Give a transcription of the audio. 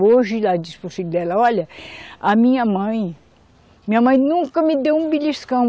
Hoje, ela diz para o filho dela, olha, a minha mãe, minha mãe nunca me deu um beliscão.